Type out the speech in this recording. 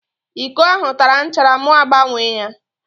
Íkó ahụ tara nchara mụ agbanwee ya